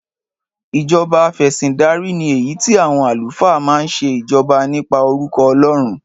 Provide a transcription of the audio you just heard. Ìjọba afẹ̀sìndarí ni èyí tí àwọn àlùfáà máa ń ṣe ìjọba nípa orúkọ Ọlọ́run.